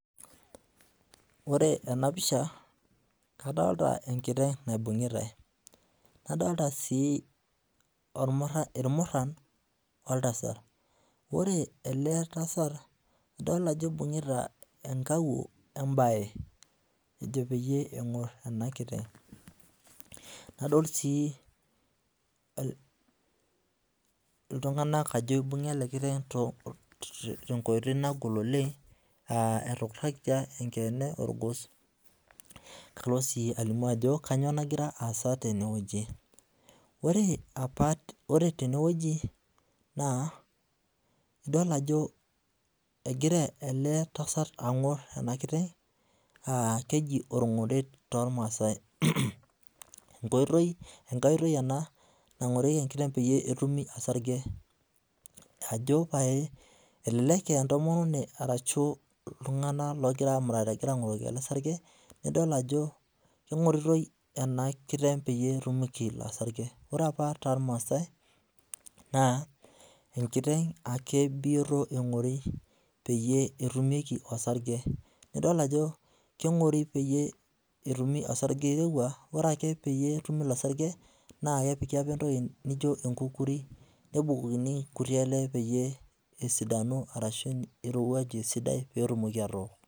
Ore ena pisha, kadolita enkiteng' naibung'itae. Nadolita sii irmurran woltasat. Ore ele tasat, adol ajo ibung'ita enkawuo wo embae ejo peyie eng'orr ena kiteng'. Nadol sii iltung'anak ajo ibung'a ele kiteng tenkoitoi nagol oleng, etukurrakita enkeene orgos. Kalo sii alimu ajo kanyoo nagira aasa tenewueji. Ore opa, ore tenewueji naa idol ajo egira ele tasat ang'orr ena kiteng aa keji orng'oret tormaasai. Enkoitoi ena nang'orieki enkiteng peyie etumi osarge, ajo pae elelek aa entomononi ashu iltung'anak oogirae aamurat egirae ang'oroki ele sarge, nidola ajo keng'oritoi ena kiteng peyie etumieki ilo sarge. Ore opa tormaasai naa enkiteng ake bioto eng'ori peyie etumieki osarge. Nidol ajo keng'ori peyie etumi osarge oirowua. Ore ake peyie etumi ilo sarge naa kepiki opa entoki nijo enkukuri nebukokini nkuti ale peeyie esidanu arashu irowuaju esidai peetumoki atook